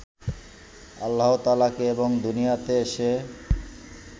আল্লাহতায়ালাকে এবং দুনিয়াতে এসে